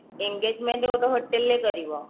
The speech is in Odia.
engagement ବୋଧେ hotel ରେ କରିବ